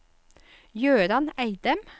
Gøran Eidem